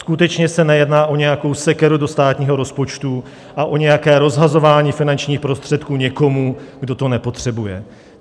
Skutečně se nejedná o nějakou sekeru do státního rozpočtu a o nějaké rozhazování finančních prostředků někomu, kdo to nepotřebuje.